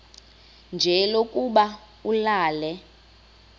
nje lokuba ulale